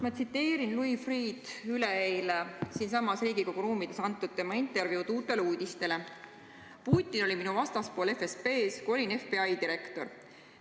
Ma tsiteerin Louis Freeh' sõnu üleeile siinsamas Riigikogu ruumides antud intervjuust "Uutele uudistele": "Putin oli minu vastaspool FSB-st, kui olin FBI direktor.